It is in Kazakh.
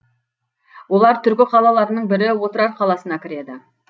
олар түркі қалаларының бірі отырар қаласына кіреді